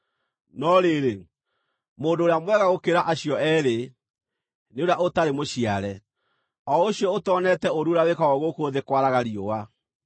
No rĩrĩ, mũndũ ũrĩa mwega gũkĩra acio eerĩ nĩ ũrĩa ũtarĩ mũciare, o ũcio ũtoneete ũũru ũrĩa wĩkagwo gũkũ thĩ kwaraga riũa.